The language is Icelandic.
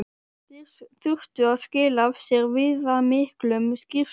Þeir þurftu að skila af sér viðamiklum skýrslum.